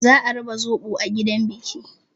Za a raba zoɓo a gidan biki.